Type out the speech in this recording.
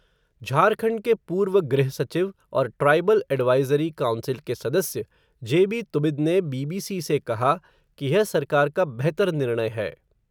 झारखंड के पूर्व गृह सचिव और ट्राइबल एडवाइज़री काउंसिल के सदस्य, जेबी तुबिद ने बीबीसी से कहा, कि यह सरकार का बेहतर निर्णय है.